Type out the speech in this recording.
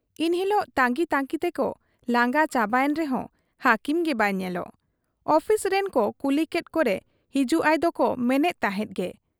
ᱤᱱ ᱦᱤᱞᱚᱜ ᱛᱟᱺᱜᱤ ᱛᱟᱺᱜᱤ ᱛᱮᱠᱚ ᱞᱟᱸᱜᱟ ᱪᱟᱵᱟᱭᱮᱱ ᱨᱮᱦᱚᱸ ᱦᱟᱹᱠᱤᱢ ᱜᱮ ᱵᱟᱭ ᱧᱮᱞᱚᱜ ᱾ ᱚᱯᱷᱤᱥ ᱨᱤᱱ ᱠᱚ ᱠᱩᱞᱤᱠᱮᱫ ᱠᱚᱨᱮ ᱦᱤᱡᱩᱜ ᱟᱭ ᱫᱚᱠᱚ ᱢᱮᱱᱮᱫ ᱛᱟᱦᱮᱸᱫ ᱜᱮ ᱾